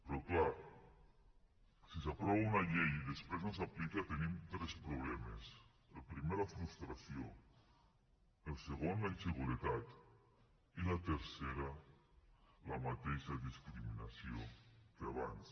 però clar si s’aprova una llei i després no s’aplica tenim tres problemes el primer la frustració el segon la inseguretat i el tercer la mateixa discriminació que abans